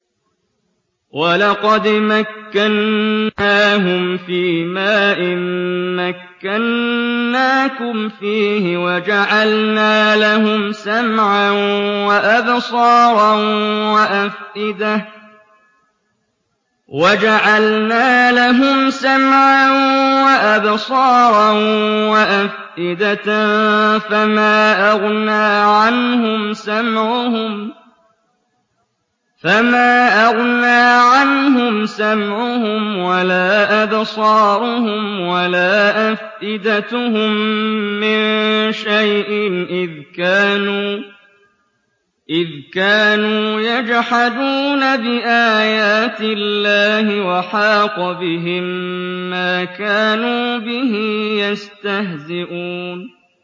وَلَقَدْ مَكَّنَّاهُمْ فِيمَا إِن مَّكَّنَّاكُمْ فِيهِ وَجَعَلْنَا لَهُمْ سَمْعًا وَأَبْصَارًا وَأَفْئِدَةً فَمَا أَغْنَىٰ عَنْهُمْ سَمْعُهُمْ وَلَا أَبْصَارُهُمْ وَلَا أَفْئِدَتُهُم مِّن شَيْءٍ إِذْ كَانُوا يَجْحَدُونَ بِآيَاتِ اللَّهِ وَحَاقَ بِهِم مَّا كَانُوا بِهِ يَسْتَهْزِئُونَ